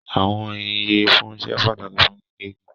Àwọn iyẹfunsẹ́ pátàkì fún gígẹ̀ igi.